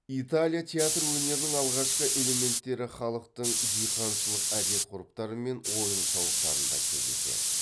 италия театр өнерінің алғашқы элементтері халықтың диқаншылық әдет ғұрыптары мен ойын сауықтарында кездеседі